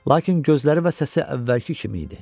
Lakin gözləri və səsi əvvəlki kimi idi.